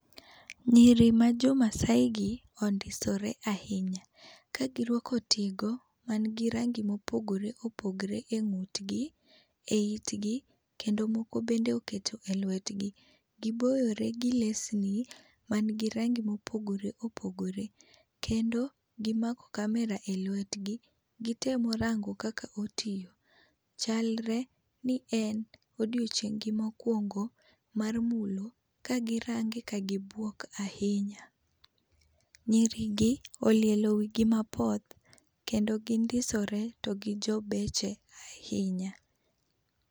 Nyiri ma jo maasai gi ondisore ahinya ,ka gI rwako tigo man gi rangi ma opogore opogore e ng'ut gi, e it gi, kendo moko bende oketo e lwet gi. Gi bore gi lesni man gi rangi ma opogore opogore kendo gi mako camera elwet gi gi temo rango kaka otiyo. chalre ni en odiechieng gi ma okuongo mar mulo ka gi range ka gi buok ahinya. Nyiri gi olielo wi gi mapoth kendo gi ndisore to gi jobeche ahinya.